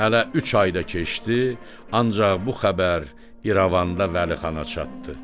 Hələ üç ay da keçdi, ancaq bu xəbər İrəvanda Vəlixana çatdı.